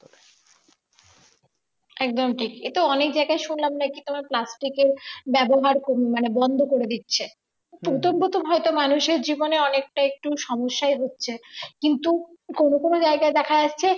একদম ঠিকই এতো অনেক জায়গায় শুনলাম নাকি তোমার plastic এর ব্যবহার কমই মানে ব্যবহার বন্ধ করে দিচ্ছে প্রথম প্রথম হয়তো মানুষের জীবনে অনেকটা একটু সমস্যায় হচ্ছে কিন্তু কোন কোন জায়গায় দেখা যাচ্ছে